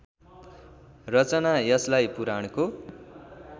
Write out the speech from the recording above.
रचना यसलाई पुराणको